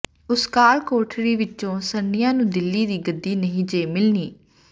ਉਸ ਕਾਲ ਕੋਠੜੀ ਵਿੱਚੋਂ ਸਰਨਿਆ ਨੂੰ ਦਿੱਲੀ ਦੀ ਗੱਦੀ ਨਹੀਂ ਜੇ ਮਿਲਣੀ